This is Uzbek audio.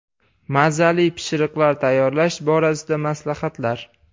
Mazali pishiriqlar tayyorlash borasida maslahatlar.